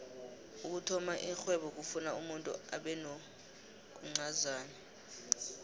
ukuthoma ixhwebo kufuna umuntu abenokuncazana